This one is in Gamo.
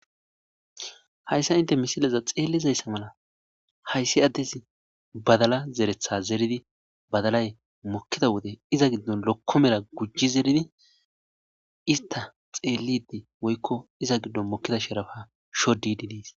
Hayssa inte misileza xeellizayssa mala hayssi addes badala zeretha zeridi badalay mokkida wode iza giddon lokko mera gujji zeridi ista xeellidi woykko iza giddon mokkida sherafa shodididis.